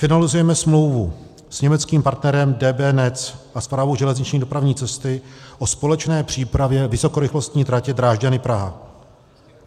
Finalizujeme smlouvu s německým partnerem DB Netz a Správou železniční dopravní cesty o společné přípravě vysokorychlostní tratě Drážďany-Praha.